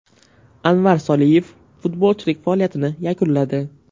Anvar Soliyev futbolchilik faoliyatini yakunladi.